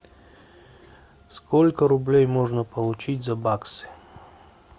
сколько рублей можно получить за бакс